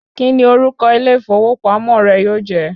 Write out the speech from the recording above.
Kí ni orúkọ ilé ìfowópamọ́ rẹ yóò jẹ́?